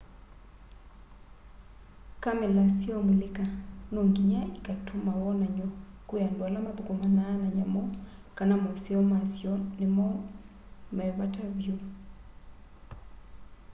kamela syaũmulĩka nonginya ikatũma wonany'o kwĩ andũ ala mathũkũmanaa na nyamũ kana maũseo masyo nĩmo me vata vyũ